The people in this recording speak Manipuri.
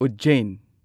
ꯎꯖꯖꯦꯟ